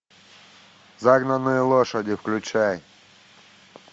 загнанные лошади включай